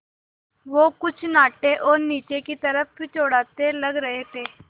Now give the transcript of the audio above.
वो कुछ नाटे और नीचे की तरफ़ चौड़ाते लग रहे थे